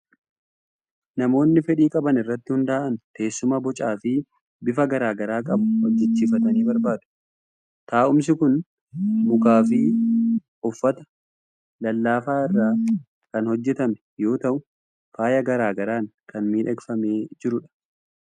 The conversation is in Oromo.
Namoonni fedhii qaban irratti hundaa'an teessuma bocaa fi bifa garaa garaa qabu hojjechiifachuu barbaadu. Taa'umsi kun mukaa fi uffata lallaafaa irraa kan hojjetamu yoo ta'u, faaya garaa garaan kan miidhagfamee jirudha.